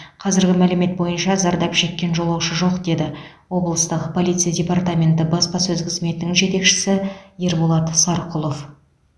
қазіргі мәлімет бойынша зардап шеккен жолаушы жоқ деді облыстық полиция департаменті баспасөз қызметінің жетекшісі ерболат сарқұлов